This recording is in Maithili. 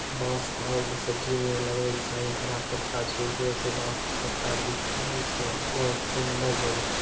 बॉस और शटरिंग में लगवै के चाहीं हरा पत्ता छे उपरो से बांस के पत्ता दिख रहल छे बहुत सुन्दर जगह छे।